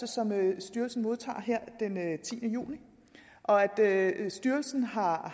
som styrelsen modtager her den tiende juni og at styrelsen har